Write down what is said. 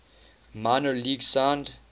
minor leagues signed